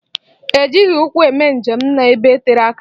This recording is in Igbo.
E jighị ụkwụ eme njem n'ebe tere aka.